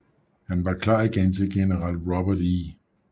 Han var klar igen til general Robert E